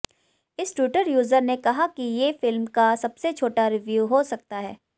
इस Twitter user ने कहा कि ये फिल्म का सबसे छोटा रिव्यू हो सकता है